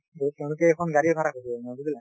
তেওঁলোকে এখন গাড়ী ভাৰা বুজিলা